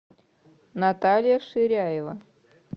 наталья ширяева